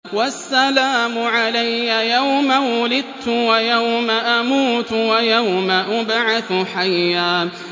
وَالسَّلَامُ عَلَيَّ يَوْمَ وُلِدتُّ وَيَوْمَ أَمُوتُ وَيَوْمَ أُبْعَثُ حَيًّا